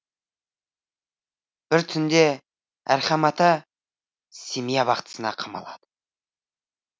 бір түнде әрхам ата семей абақтысына қамалады